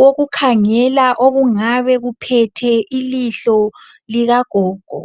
wokukhangela okungabe kuphethe ilihlo likagogo